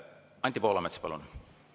Anti Poolamets, palun!